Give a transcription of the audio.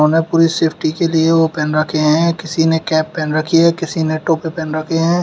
उन्होंने पूरी सेफ्टी के लिए वो पहन रखे हैं। किसी ने कैप पहन रखी है किसी ने टोपी पहन रखे हैं।